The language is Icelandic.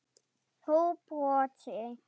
Þú brosir.